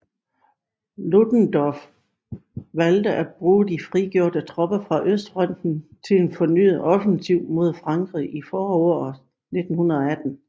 Ludendorff valgte at bruge de frigjorte tropper fra østfronten til en fornyet offensiv mod Frankrig i foråret 1918